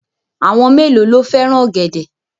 Àwọn mélòó ló fẹ́ràn ọ̀gẹ̀dẹ̀?